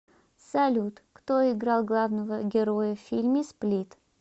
салют кто играл главного героя в фильме сплит